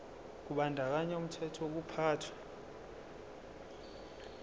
kubandakanya umthetho wokuphathwa